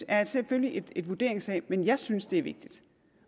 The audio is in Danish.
er selvfølgelig en vurderingssag men jeg synes det vigtigt